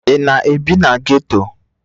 Ị na-ebi na ghetto?